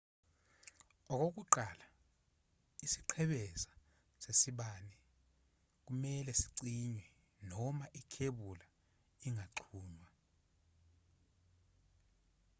okokuqala isiqhebeza sesibani kumelwe sicinywe noma ikhebula ingaxhunywa